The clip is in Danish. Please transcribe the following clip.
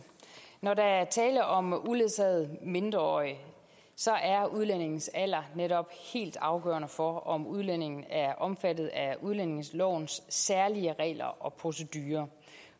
når der er tale om uledsagede mindreårige er udlændingens alder netop helt afgørende for om udlændingen er omfattet af udlændingelovens særlige regler og procedurer